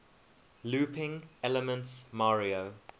looping elements mario